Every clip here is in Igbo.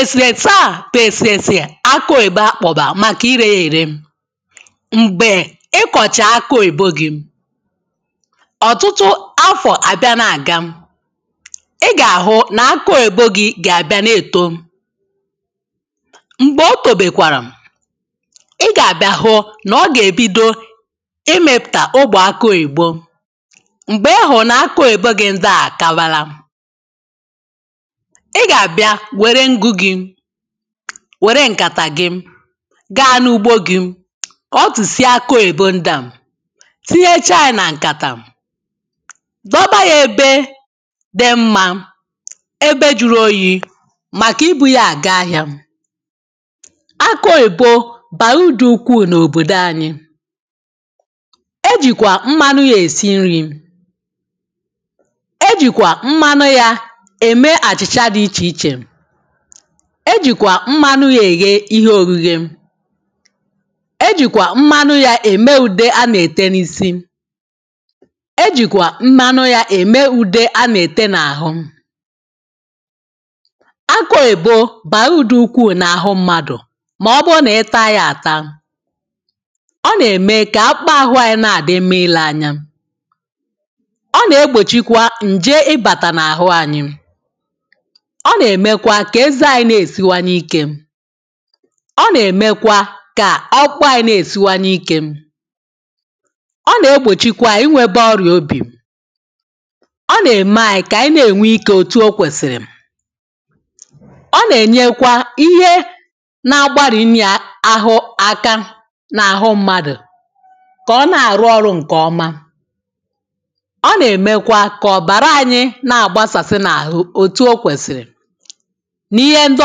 èsèèsè a bụ̀ èsèèsè akị òyibo akpọ̀bà màkà irė ya ère. m̀gbè ịkọ̀chaa akị òyìbo gì um ọ̀tụtụ afọ̀ àbịa na-àga ị gà-àhụ na akị òyìbo gi gà-àbịa na-èto. m̀gbè otòbèkwàrà ị gà-àbịa hụ nà ọ gà-èbido ịmịpụ̀ta ogbe akị òyìbo m̀gbè ị hụ̀rụ̀ n’akị òyìbo gi ndị a àkabala ị gà-àbịa wère ngu gị, wère ǹkàtà gị gaa n’ugbo gị̇ kọtụ̀sịa akị òyìbo ndị à tinyechaa nà ǹkàtà dọba ya ebe um dị mma ebe jụrụ oyi̇ màkà ibu ya à ga-ahịȧ. akị òyìbo bàrà urù du ukwuù n’òbòdò anyị e jìkwà mmanụ ya è si nri, e jìkwà mmanụ yȧ ejìkwà mmanụ ya eme achicha di iche iche, ejikwa mmanụ ya eghe ihe oghughe, ejìkwà mmanụ ya ème ùde a nà-ète n’isi, ejìkwà mmanụ ya ème ùde a nà-ète n’àhụ.akị oyibo bàrà udù ukwuu n’àhụ mmadù màọbụ̀ ọ nà-ita ya àta ọ nà-ème kà akpụkpa àhụ anyị na-àdị mma i̇le anya, ọ nà-egbòchikwa ǹje ịbàtà n’àhụ ànyị,ọ nà-èmekwa kà eze anyi̇ na-èsiwanye ikė, ọ nà-èmekwa kà ọkpụkpụ anyi̇ na-èsiwanye ikė,ọ nà-egbòchikwa inwėbė ọrịà obì,ọ nà-ème anyi̇ kà ànyị na-ènwe ikė òtù okwèsìrì ọ nà-ènyekwa ihe na agbarì nri um aka nà àhụ mmadụ̀ kà ọ na-àrụ ọrụ̇ ǹkèọma ọ nà-èmekwa kà ọ̀bàrà anyị na-àgbasàsị na ahụ otu o kwesịrị n’ihe ndị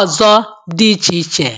ọ̀zọ dị ichè ichè